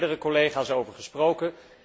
Daar hebben meerdere collega's over gesproken.